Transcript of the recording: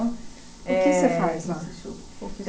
Eh O que você faz lá?